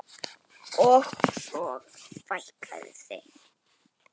Og svo fækkaði þeim.